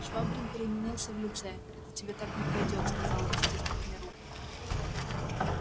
швабрин переменился в лице это тебе так не пройдёт сказал он стиснув мне руку